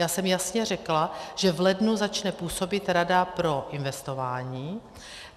Já jsem jasně řekla, že v lednu začne působit Rada pro investování.